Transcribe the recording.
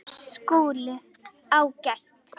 SKÚLI: Ágætt!